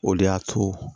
O de y'a to